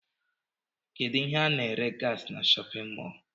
Kedụ ihe ana ere gasị n'shóppin mol?